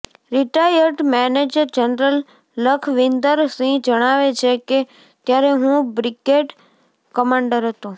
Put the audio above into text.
retired major general Lakhwinder Singh જણાવે છે કે ત્યારે હું બ્રિગેડ કમાન્ડર હતો